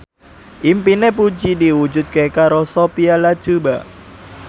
impine Puji diwujudke karo Sophia Latjuba